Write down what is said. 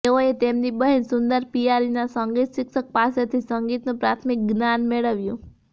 તેઓએ તેમની બહેન સુંદર પિયારીના સંગીત શિક્ષક પાસેથી સંગીતનું પ્રાથમિક જ્ઞાન મેળવ્યું